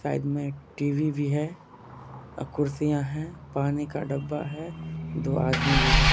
Side में TV. भी है आ कुर्सियां हैं पानी का डब्बा है दो आदमी भी है।